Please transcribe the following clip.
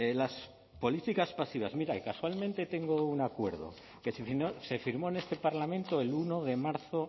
las políticas pasivas mire y casualmente tengo un acuerdo que se firmó en este parlamento el uno de marzo